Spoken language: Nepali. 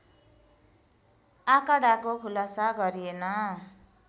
आँकडाको खुलासा गरिएन